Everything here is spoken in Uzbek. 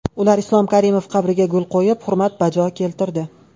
Ular Islom Karimov qabriga gul qo‘yib, hurmat bajo keltirdi.